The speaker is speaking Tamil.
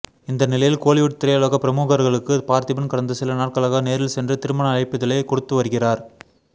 இந்த நிலையில் கோலிவுட் திரையுலக பிரமுகர்களுக்கு பார்த்திபன் கடந்த சில நாட்களாக நேரில் சென்று திருமண அழைப்பிதழை கொடுத்து வருகிறார்